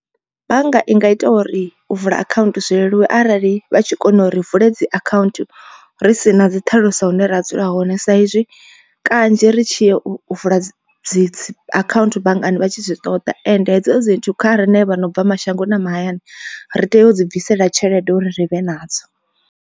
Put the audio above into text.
Bannga i nga ita uri u vula akhaunthu zwi leluwe arali vha tshi kona u ri vule dzi account ri si na dzi ṱhaluso hune ra dzula hone sa izwi kanzhi ri tshi ya u vula dzi account banngani vha tshi zwi ṱoḓa. Ende hedzo dzi nthu kha riṋe vha no bva mashangoni na mahayani ri tea u dzi bvisela tshelede uri ri vhe nadzo.